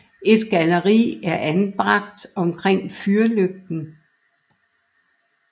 Et galleri er anbragt omkring fyrlygten